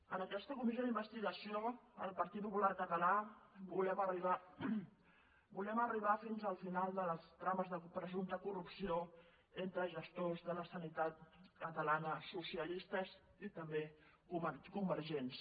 en aquesta comissió d’investigació el partit popular català volem arribar fins al final de les trames de presumpte corrupció entre gestors de la sanitat catalana socialistes i també convergents